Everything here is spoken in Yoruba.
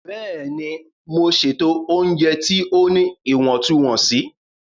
Bẹ́ẹ̀ni, Mo ṣẹtọju ọunjẹ ti o ní iwọntunwọnsí.